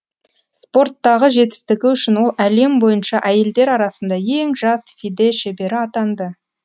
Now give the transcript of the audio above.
спорттағы жетістігі үшін ол әлем бойынша әйелдер арасында ең жас фиде шебері атанды